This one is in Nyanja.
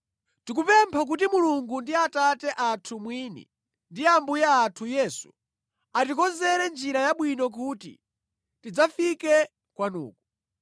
Tikupempha kuti Mulungu ndi Atate athu mwini, ndi Ambuye athu Yesu, atikonzere njira yabwino kuti tidzafike kwanuko.